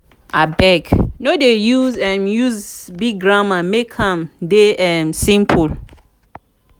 abeg no dey use dey use big grammar make am dey um simple.